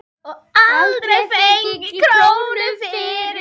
Og aldrei fengið krónu fyrir.